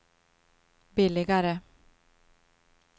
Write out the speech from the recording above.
billigare